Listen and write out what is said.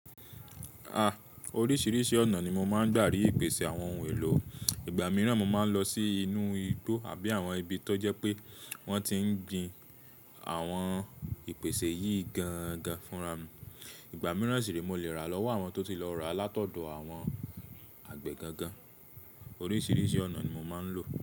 Ah, oríṣiríṣi ọ̀nà ni mo máa ń gbà ri ìpèsè àwọn ohun èlò. Igba mìíràn mo máa ń lọ sí inú igbó àbí àwọn ibi tó jẹ́ pé wọ́n ti ń gbin àwọn ìpèsè yìí gan gan fúnra mi. Igba mìíràn sì rí mo lè rà lọ́wọ́ àwọn tó ti lọ rà látọ̀dọ̀ àwọn àgbẹ̀ gangan. Oríṣiríṣi ọ̀nà ni mo máa ń lò.